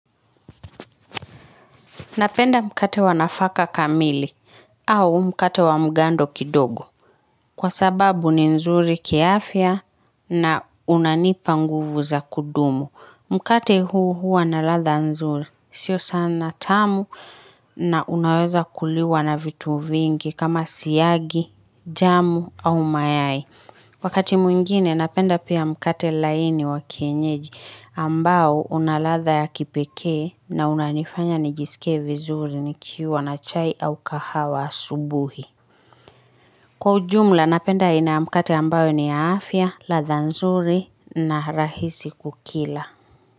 Napenda mkate wa nafaka kamili au mkate wa mgando kidogo. Kwa sababu ni nzuri kiafya na unanipa nguvu za kudumu. Mkate huu huwa na ladha nzuri sio sana tamu na unaweza kuliwa na vitu vingi kama siagi, jamu au mayai. Wakati mwingine napenda pia mkate laini wa kienyeji ambao unaladha ya kipekee na unanifanya nijisikie vizuri nikiwa na chai au kahawa asubuhi. Kwa ujumla napenda aina ya mkate ambayo ni ya afya, ladha nzuri na rahisi kukila.